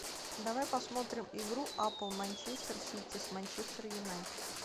давай посмотрим игру апл манчестер сити с манчестер юнайтед